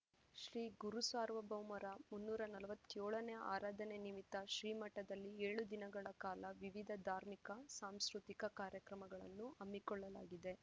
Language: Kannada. ಶ್ರೀಗುರುಸಾರ್ವಭೌಮರ ಮುನ್ನೂರ ನಲವತ್ಯೋಳನೇ ಆರಾಧನೆ ನಿಮಿತ್ತ ಶ್ರೀಮಠದಲ್ಲಿ ಏಳು ದಿನಗಳ ಕಾಲ ವಿವಿಧ ಧಾರ್ಮಿಕ ಸಾಂಸ್ಕೃತಿ ಕಾರ್ಯಕ್ರಮಗಳನ್ನು ಹಮ್ಮಿಕೊಳ್ಳಲಾಗಿದೆ